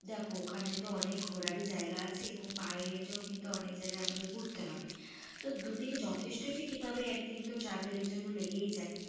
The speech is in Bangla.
দেখো ওখানে তো অনেক ই ঘোরার জায়গা আছে এবং পায়ে হেটে ও কিন্তু অনেক জায়গা আমাদের ঘুরতে হবে, তো দু দিন যথেষ্ট ঠিক ই তবে একদিন তো travel এর জন্য লেগেই যাই,